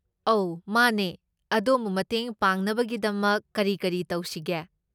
ꯑꯧ ꯃꯥꯅꯦ꯫ ꯑꯗꯣꯝꯕꯨ ꯃꯇꯦꯡ ꯄꯥꯡꯅꯕꯒꯤꯗꯃꯛ ꯀꯔꯤ ꯀꯔꯤ ꯇꯧꯁꯤꯒꯦ?